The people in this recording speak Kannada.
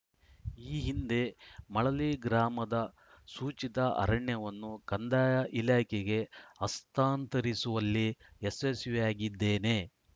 ಈ ಹಿಂದೆ ಮಳಲಿ ಗ್ರಾಮದ ಸೂಚಿತ ಅರಣ್ಯವನ್ನು ಕಂದಾಯ ಇಲಾಖೆಗೆ ಹಸ್ತಾಂತರಿಸುವಲ್ಲಿ ಯಶಸ್ವಿಯಾಗಿದ್ದೇನೆ